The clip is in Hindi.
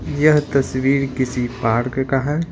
यह तस्वीर किसी पार्क का है।